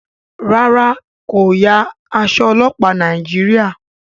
ràrá ko ya Aṣọ ọlọpa Nàìjíríà.